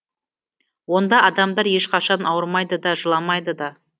онда адамдар ешқашан ауырмайды да жыламайды да